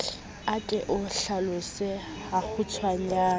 a ke o hlalose hakgutshwanyane